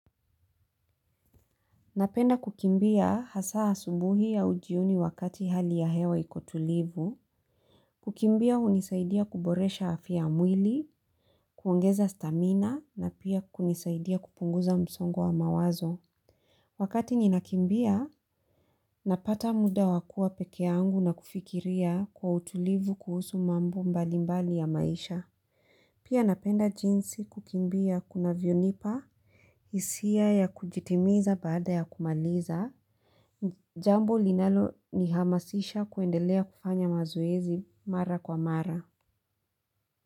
Napenda kukimbia hasa asubuhi au jioni wakati hali ya hewa ikotulivu. Kukimbia hunisaidia kuboresha afya ya mwili, kuongeza stamina, na pia kunisaidia kupunguza msongo wa mawazo. Wakati ninakimbia napata muda wa kuwa pekee yangu na kufikiria kwa utulivu kuhusu mambo mbalimbali ya maisha. Pia napenda jinsi kukimbia kunavyonipa, hisia ya kujitimiza baada ya kumaliza. Jambo linalo ni hamasisha kuendelea kufanya mazoezi mara kwa mara.